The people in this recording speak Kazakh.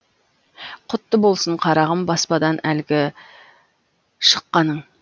құтты болсын қарағым баспадан әлгі шыққаның